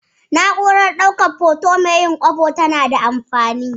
Na'urar ɗaukan hoto mai yin kwabo na da alfanu.